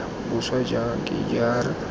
boswa jang k g r